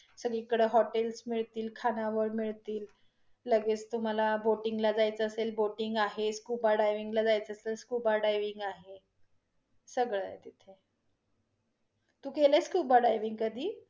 सगळी कडे hotels मिळतील, खानावळ मिळतील. लगेच तुम्हाला booting ला जायचं असेल booting आहे scuba diving ला जायचं असेल scuba diving आहे, सगळ आहे तिथे. तू केलं आहे scuba diving कधी?